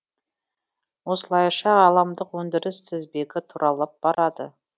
осылайша ғаламдық өндіріс тізбегі тұралап барады